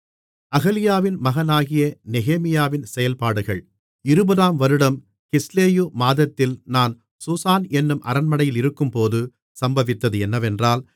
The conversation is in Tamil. அகலியாவின் மகனாகிய நெகேமியாவின் செயல்பாடுகள் இருபதாம் வருடம் கிஸ்லேயு மாதத்தில் நான் சூசான் என்னும் அரண்மனையில் இருக்கும்போது சம்பவித்தது என்னவென்றால்